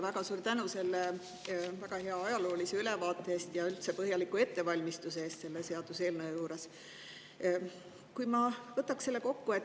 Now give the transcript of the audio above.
Väga suur tänu selle väga hea ajaloolise ülevaate eest ja üldse põhjaliku ettevalmistuse eest selle seaduseelnõu juures.